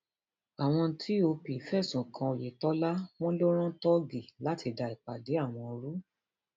àwọn tòp fẹsùn kan oyetola wọn ló rán tóògì láti da ìpàdé àwọn rú